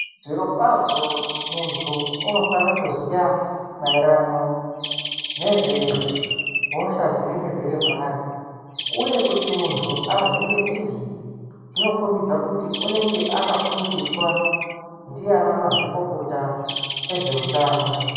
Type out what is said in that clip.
Zviro kwazvo muntu unofane kuziya maererano nezve hosha dzinenge dziri paari uye kuti muntu aziye izvi zvinokombidza kuti unenge akafundiswa ndiana maxvikokota ezveutano.